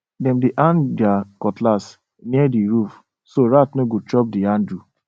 dem dey hang their cutlass near the roof so rat no go chop the handle